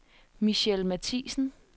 Michelle Matthiesen